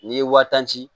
N'i ye wa tan ci